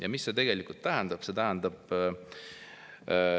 " Ja mis see tegelikult tähendab?